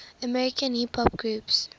american hip hop groups